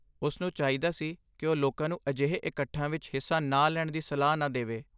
ਉਸ ਨੂੰ ਚਾਹੀਦਾ ਸੀ ਕਿ ਉਹ ਲੋਕਾਂ ਨੂੰ ਅਜਿਹੇ ਇਕੱਠਾਂ ਵਿੱਚ ਹਿੱਸਾ ਨਾ ਲੈਣ ਦੀ ਸਲਾਹ ਨਾ ਦੇਵੇ।